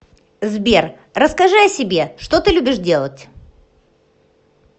сбер расскажи о себе что ты любишь делать